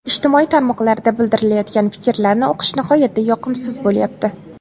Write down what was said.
Ijtimoiy tarmoqlarda bildirilayotgan fikrlarni o‘qish nihoyatda yoqimsiz bo‘lyapti.